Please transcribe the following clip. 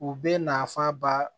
U bɛ nafan ba